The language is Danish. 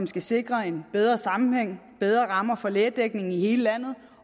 skal sikre en bedre sammenhæng bedre rammer for lægedækning i hele landet